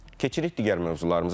Keçirik digər mövzularımıza.